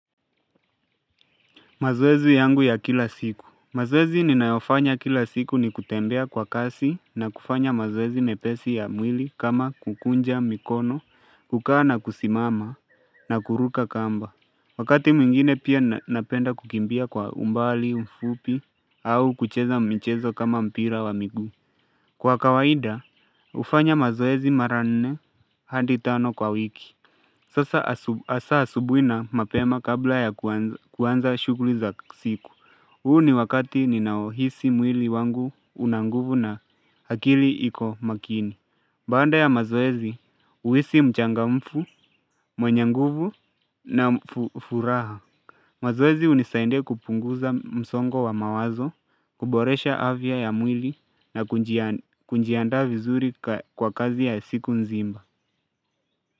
Mazoezi yangu ya kila siku. Mazoezi ninayofanya kila siku ni kutembea kwa kasi na kufanya mazoezi mepesi ya mwili kama kukunja mikono, kukaa na kusimama na kuruka kamba. Wakati mwingine pia napenda kukimbia kwa umbali, mfupi au kucheza mchezo kama mpira wa miguu. Kwa kawaida, hufanya mazoezi mara nne hadi ano kwa wiki. Sasa has asabuhi na mapema kabla ya kuanza shughuli za siku. Huu ni wakati ninaohisi mwili wangu una nguvu na akili iko makini. Baada ya mazoezi, uhisi mchangamfu, mwenyenguvu na furaha. Mazoezi hunisidia kupunguza msongo wa mawazo, kuboresha afya ya mwili na kunjiada vizuri kwa kazi ya siku nzima.